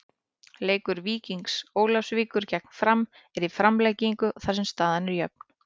Leikur Víkings Ólafsvíkur gegn Fram er í framlengingu þar sem staðan er jöfn.